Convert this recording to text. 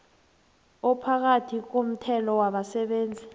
ophakathi komthelo wabasebenzi